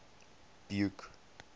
buke